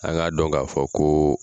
A k'a dɔn k'a fɔ koo